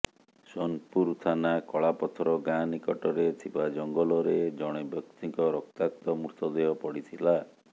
ସୋନପୁର ଥାନା କଳାପଥର ଗାଁ ନିକଟରେ ଥିବା ଜଙ୍ଗଲରେ ଜଣେ ବ୍ୟକ୍ତିଙ୍କ ରକ୍ତାକ୍ତ ମୃତଦେହ ପଡି଼ଥିଲା